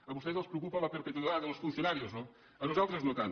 a vostès els preocupa la perpetuidad de los funcionarios no a nosaltres no tant